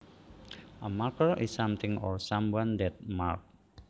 A marker is something or someone that marks